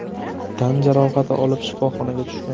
tan jarohati olib shifoxonaga tushgan.